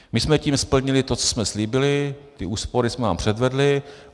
My jsme tím splnili to, co jsme slíbili, ty úspory jsme vám předvedli.